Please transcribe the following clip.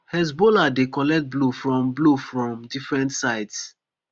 hezbollah dey collect blow from blow from different sides